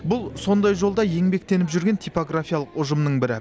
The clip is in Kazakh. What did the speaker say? бұл сондай жолда еңбектеніп жүрген типографиялық ұжымның бірі